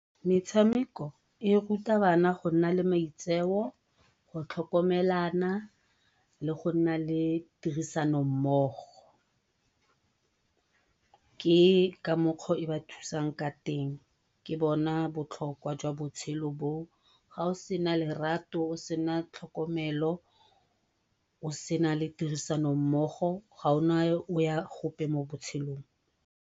Metshameko e ruta bana go nna le maitseo, go tlhokomelana le go nna le tirisano mmogo. Ke ka mokgwa o e ba thusang ka teng, ke bona botlhokwa jwa botshelo bo o. Ga o sena lerato o sena le tlhokomelo o sena tirisano mmogo ga o na o ya gope mo botshelong.